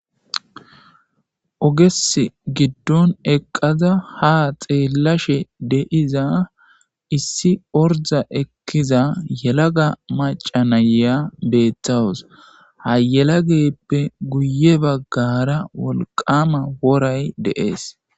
Oges giddon eqqaza ha xeellashe deiza issi orda ekkiza yelaga macanaya beeththawus hayelageppe guye baggara wolqama woray deees.